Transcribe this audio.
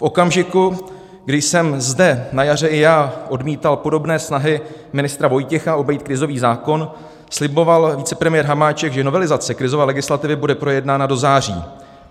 V okamžiku, kdy jsem zde na jaře i já odmítal podobné snahy ministra Vojtěcha obejít krizový zákon, sliboval vicepremiér Hamáček, že novelizace krizové legislativy bude projednána do září.